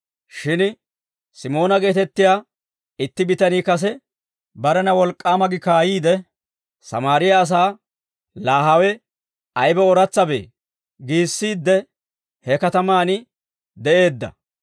Shin Simoona geetettiyaa itti bitanii kase, barena wolk'k'aama gi kaayiid, Sammaariyaa asaa, «Laa hawe aybe ooratsabee» giissiidde he katamaan de'eedda.